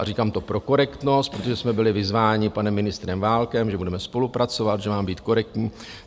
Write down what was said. A říkám to pro korektnost, protože jsme byli vyzváni panem ministrem Válkem, že budeme spolupracovat, že mám být korektní.